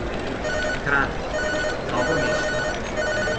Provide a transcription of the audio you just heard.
Kranj, Novo mesto.